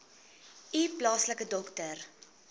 u plaaslike dokter